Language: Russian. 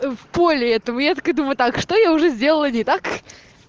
в поле этого я так иду вот так что я уже сделала не так